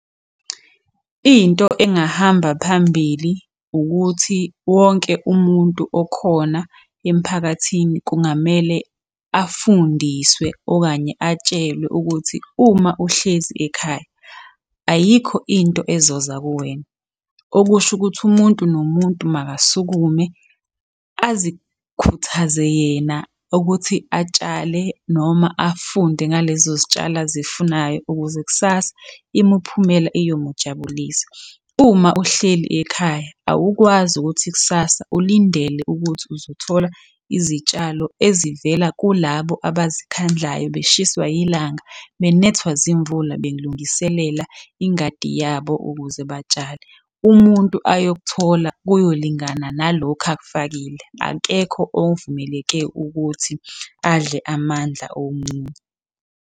Into engahamba phambili ukuthi wonke umuntu okhona emphakathini kungamele afundiswe okanye atshelwe ukuthi uma uhlezi ekhaya, ayikho into ezoza kuwena. Okusho ukuthi umuntu nomuntu makasukume azikhuthaze yena ukuthi atshale noma afunde ngalezo zitshalo azifunayo ukuze kusasa imiphumela iyomujabulisa. Uma uhleli ekhaya awukwazi ukuthi kusasa ulindele ukuthi uzothola izitshalo ezivela kulabo abazikhandlayo beshiswa yilanga, benethwa zimvula belungiselela ingadi yabo ukuze batshale. Umuntu ayokuthola kuyolingana nalokhu akufakile. Akekho ovumeleke ukuthi adle amandla omunye.